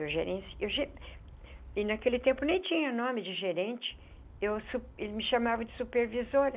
Eu gerenci eu ge... e naquele tempo nem tinha nome de gerente... eu su ele me chamava de supervisora...